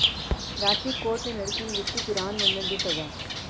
Ranchi court ਨੇ ਲੜਕੀ ਨੂੰ ਦਿੱਤੀ ਕੁਰਾਨ ਵੰਡਣ ਦੀ ਸਜਾ